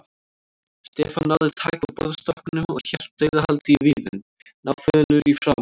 Stefán náði taki á borðstokknum og hélt dauðahaldi í viðinn, náfölur í framan.